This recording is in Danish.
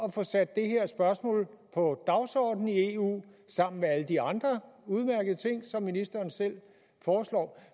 at få sat det her spørgsmål på dagsordenen i eu sammen med alle de andre udmærkede ting som ministeren selv foreslår